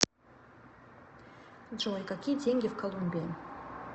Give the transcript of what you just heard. джой какие деньги в колумбии